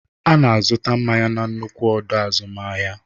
Ana azụta mmanya na nnukwu ọdọ azụmahịa.